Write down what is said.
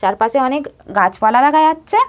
চারপাশে অনেক গাছপালা দেখা যাচ্ছে।